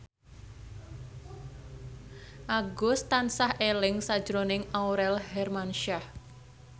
Agus tansah eling sakjroning Aurel Hermansyah